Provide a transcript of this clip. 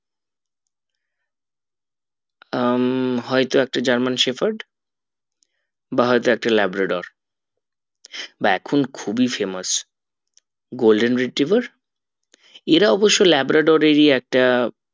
উম হয় তো একটা german shepherd বা হয়তো একটা labrador বা এখুন খুবই famousgolden retriever এরা অবশ্য labrador এর ই একটা